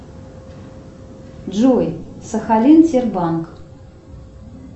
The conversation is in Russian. джой сахалин тер банк